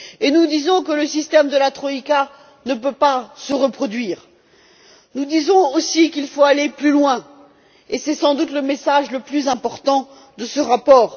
Nous disons également que le système de la troïka ne peut pas se reproduire, qu'il faut aller plus loin et c'est sans doute le message le plus important de ce rapport.